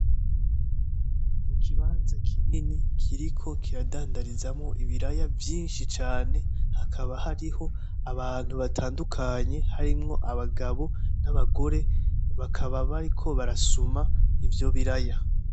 Mu kibanza kinini kiriko kiradandarizamwo ibiraya vyinshi cane hakaba hariho abantu batandukanye harimwo abagabo , abagore bakaba bariko barasuma ivyo biraya .